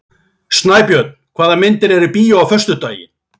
Snæbjörn, hvaða myndir eru í bíó á föstudaginn?